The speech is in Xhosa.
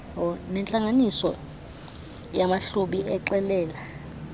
nentlanganiso yamahlubi exelela